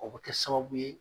O bi kɛ sababu ye